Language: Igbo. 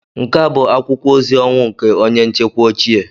Nke a bụ akwụkwọ ozi ọnwụ nke onye nchekwa ochie